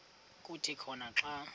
kuthi khona xa